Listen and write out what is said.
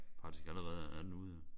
Faktisk allerede er den ude jo